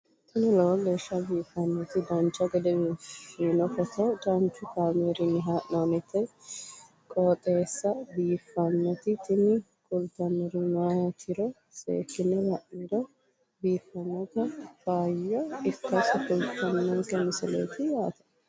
tini lowo geeshsha biiffannoti dancha gede biiffanno footo danchu kaameerinni haa'noonniti qooxeessa biiffannoti tini kultannori maatiro seekkine la'niro biiffannota faayya ikkase kultannoke misileeti yaate